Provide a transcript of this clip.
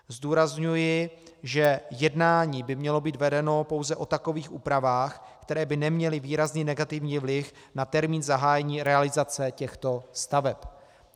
Zdůrazňuji, že jednání by mělo být vedeno pouze o takových úpravách, které by neměly výrazný negativní vliv na termín zahájení realizace těchto staveb.